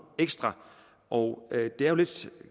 ekstra og det er jo lidt